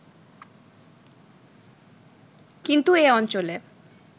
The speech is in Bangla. কিন্তু এ অঞ্চলে